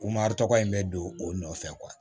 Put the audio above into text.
tɔgɔ in bɛ don o nɔfɛ